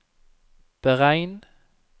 beregn